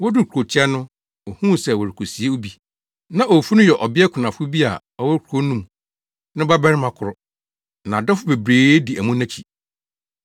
Woduu kurotia no, ohuu sɛ wɔrekosie obi. Na owufo no yɛ ɔbea kunafo bi a ɔwɔ kurow no mu no ba barima koro. Na adɔfo bebree di amu no akyi.